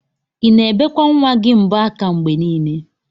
Ina ebekwa nwa gi mbo aka mgbe nile?